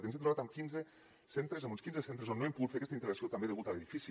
ens hem trobat amb quinze centres amb uns quinze centres on no hem pogut fer aquesta integració també degut a l’edifici